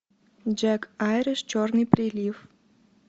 джек айриш черный прилив